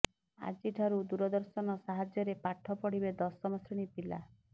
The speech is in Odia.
ଆଜିଠାରୁ ଦୂରଦର୍ଶନ ସାହାଯ୍ୟରେ ପାଠ ପଢ଼ିବେ ଦଶମ ଶ୍ରେଣୀ ପିଲା